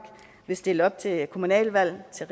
vil stille op til kommunalvalg til